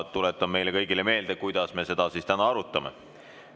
Tuletan kõigile meelde, kuidas me seda täna arutame.